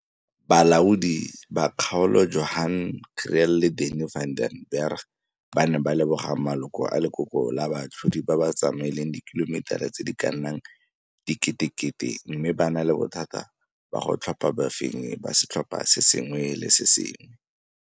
Balaodi ba Kgaolo Johan Kriel le Danie van den Berg ba ne ba leboga maloko a Lekoko la Baatlhodi ba ba tsamaileng dikilometara tse di ka nnang diketekete mme ba na le bothata ba go tlhopha bafenyi ba setlhopha se sengwe le se sengwe.